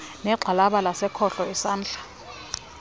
negxalaba lasekhohlo isandla